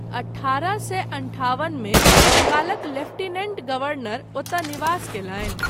अठारह सए अंठावन मे बंगालक लेफ्टिनेंट गवर्नर ओतय निवास कयलनि।